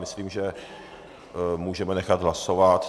Myslím, že můžeme nechat hlasovat.